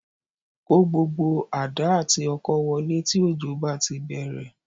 Kó gbogbo àdá àti ọkọ́ wọlé tí òjò bá ti bẹ̀rẹ̀